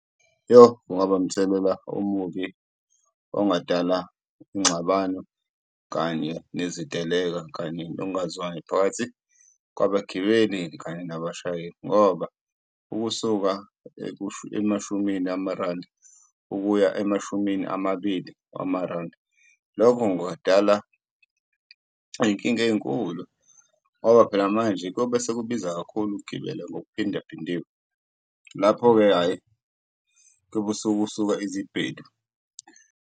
Yoh! Kungaba umthelela omubi ongadala ingxabano kanye neziteleka, kanye nongazwani phakathi kwabagibeli kanye nabashayeli ngoba ukusuka emashumini amarandi, ukuya emashumi amabili wamarandi. Lokho kungadala iyinkinga eyinkulu ngoba phela manje kobe sekubiza kakhulu ukugibela ngokuphindaphindiwe, lapho-ke hhayi kuyobe sekusuka izibhelu.